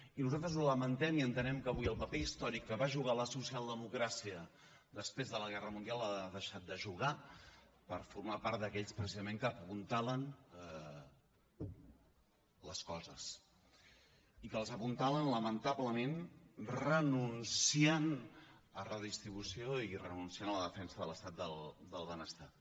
i nosaltres ho lamentem i entenem que avui el paper històric que va jugar la socialdemocràcia després de la guerra mundial l’ha deixat de jugar per formar part d’aquells precisament que apuntalen les coses i que les apuntalen lamentablement renunciant a redistribució i renunciant a la defensa de l’estat del benestar